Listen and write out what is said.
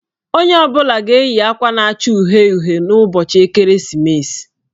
Onye ọ bụla ga-eyi akwa na-acha uhie uhie n'ụbọchị ekeresimesi.